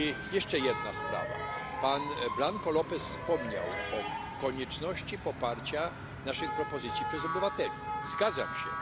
Jeszcze jedna sprawa, pan Blanko López wspomniał o konieczności poparcia naszych propozycji przez obywateli, zgadzam się.